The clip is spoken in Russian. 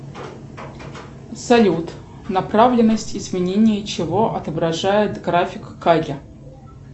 салют направленность изменения чего отображает график каги